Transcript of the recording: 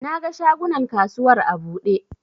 Na ga shagunan kasuwar a buɗe